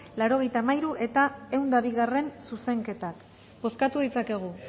laurogeita hamairu eta ehun eta bigarrena zuzenketak bozkatu ditzakegu